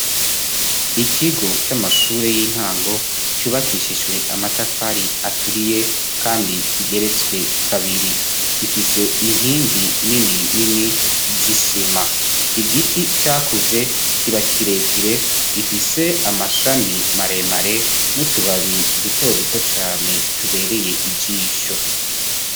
Ikigo c'amashure y'intango cubakishijwe amatafari aturiye kandi kigeretswe kabiri gifise inkingi nini nini zisima, igiti cakuze kiba kirekire gifise amashami maremare n'utubabi duto duto cane tubereye ijisho.